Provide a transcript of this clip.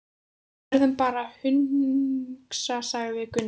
Við verðum bara að hugsa, sagði Gunni.